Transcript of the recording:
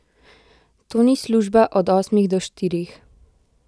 To ni služba od osmih do štirih.